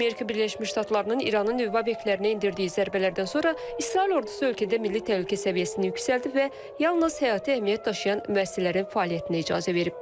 Amerika Birləşmiş Ştatlarının İranın nüvə obyektlərinə endirdiyi zərbələrdən sonra İsrail ordusu ölkədə milli təhlükəsizlik səviyyəsini yüksəldib və yalnız həyati əhəmiyyət daşıyan müəssisələrin fəaliyyətinə icazə verib.